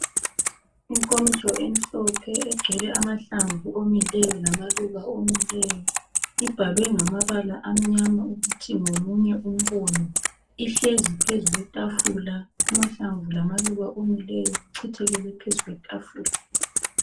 Inkomitsho emhlophe egcwele amahlamvu omileyo lamaluba omileyo ibhalwe ngamabala amnyama ukuthi ngomunye umbono ihlezi phezu kwetafula amahlamvu lamaluba omileyo kuchithekele phezu kwetafula